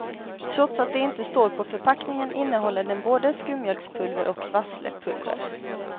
Trots att det inte står på förpackningen innehåller den både skummjölkspulver och vasslepulver.